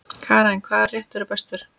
Karen: Hvaða réttur er bestur?